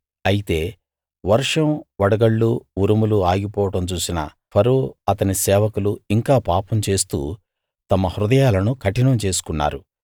అయితే వర్షం వడగళ్ళు ఉరుములు ఆగిపోవడం చూసిన ఫరో అతని సేవకులు ఇంకా పాపం చేస్తూ తమ హృదయాలను కఠినం చేసుకున్నారు